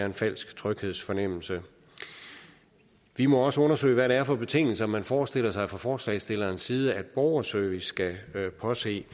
en falsk tryghedsfornemmelse vi må også undersøge hvad det er for betingelser man forestiller sig fra forslagsstillernes side at borgerservice skal påse